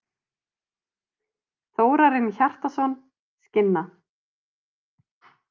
Þórarinn Hjartarson, Skinna.